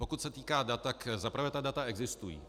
Pokud se týká dat, za prvé ta data existují.